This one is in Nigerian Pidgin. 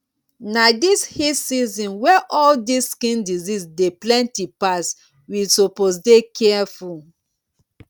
na this heat season wey all dis skin disease dey plenty pass we suppose dey careful